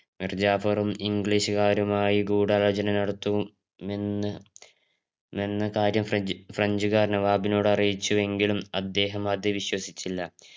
മൂർജാഫർും ഇംഗ്ലീഷുകാരുമായി ഗൂഢാലോചന നടത്തും എന്ന് എന്ന കാര്യം ഫ്രഞ്ച് ഫ്രഞ്ച് കാർ നവാബിനോട് അറിയിച്ചുവെങ്കിലും അദ്ദേഹം അത് വിശ്വസിച്ചില്ല